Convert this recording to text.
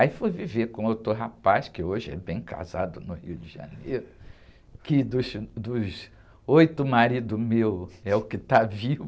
Aí fui viver com outro rapaz, que hoje é bem casado no Rio de Janeiro, que dos, dos oito maridos meus é o que está vivo.